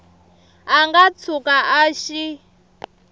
a nga tshuka a xi